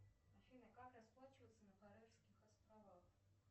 афина как расплачиваться на карельских островах